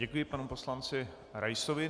Děkuji panu poslanci Raisovi.